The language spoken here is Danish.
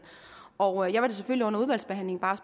og jeg vil da selvfølgelig under udvalgsbehandlingen bare